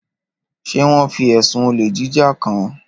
Ṣé wọ́n fi ẹ̀sùn olè jíjà kàn án?